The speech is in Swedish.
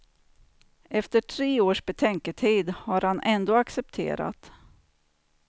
Efter tre års betänketid har han ändå accepterat.